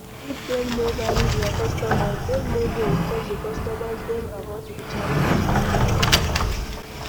If dem no value their customers, dem no go inform di customers dem about the challenge